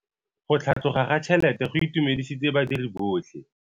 Go tlhatlhoga ga tšhelete go itumedisitse badiri botlhe.